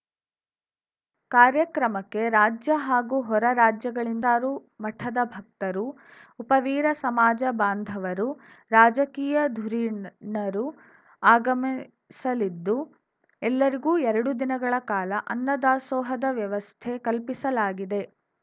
ಕಾರ್ಯಕ್ರಮಕ್ಕೆ ರಾಜ್ಯ ಹಾಗೂ ಹೊರ ರಾಜ್ಯಗಳಿಂದ ರು ಮಠದ ಭಕ್ತರು ಉಪವೀರ ಸಮಾಜ ಬಾಂಧವರು ರಾಜಕೀಯ ಧುರೀಣರು ಆಗಮಿಸಲಿದ್ದು ಎಲ್ಲರಿಗೂ ಎರಡು ದಿನಗಳ ಕಾಲ ಅನ್ನ ದಾಸೋಹದ ವ್ಯವಸ್ಥೆ ಕಲ್ಪಿಸಲಾಗಿದೆ